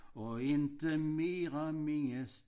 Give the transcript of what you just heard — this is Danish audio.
Og ikke mere mindes